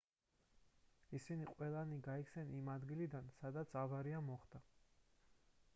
ისინი ყველანი გაიქცნენ იმ ადგილიდან სადაც ავარია მოხდა